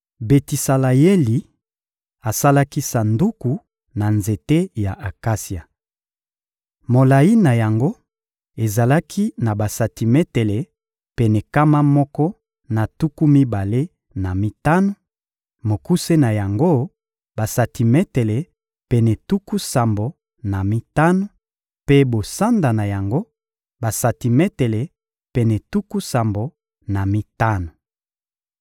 Betisaleyeli asalaki Sanduku na nzete ya akasia. Molayi na yango ezalaki na basantimetele pene nkama moko na tuku mibale na mitano; mokuse na yango, basantimetele pene tuku sambo na mitano; mpe bosanda na yango, basantimetele pene tuku sambo na mitano.